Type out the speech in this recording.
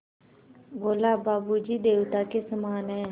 बोला बाबू जी देवता के समान हैं